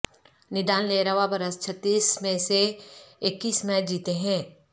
Nadal نے رواں برس چھتیس میں سے اکیس میچ جیتے ہیں